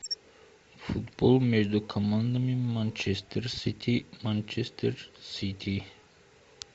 футбол между командами манчестер сити манчестер сити